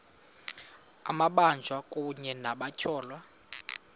amabanjwa kunye nabatyholwa